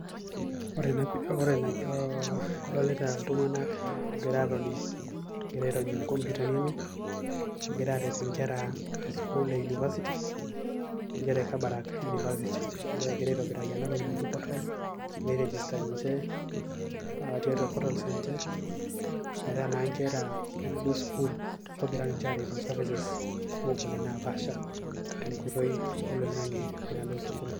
Ore na ee adolita ltunganak egira atoni egira atoni airony inkomputani enye egira aret nkera esukul e university e kabarak university aitobiraki enatoki naji portal ninche tiatua portals ninche nkera enaduo sukul ogira ninche aretoo services naapaasha tenkoitoi oloingani enaduo sukul.